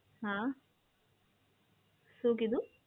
હા, શું કીધું?